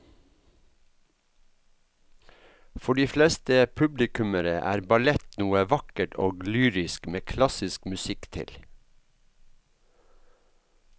For de fleste publikummere er ballett noe vakkert og lyrisk med klassisk musikk til.